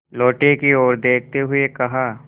लोटे की ओर देखते हुए कहा